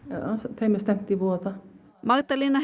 þeim er stefnt í voða Magdalena